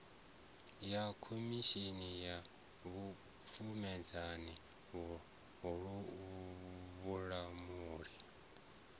ya khomishini ya vhupfumedzani vhulamuli